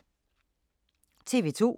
TV 2